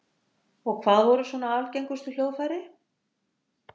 Og hvað voru svona algengustu hljóðfæri?